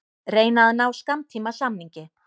Reyna að ná skammtímasamningi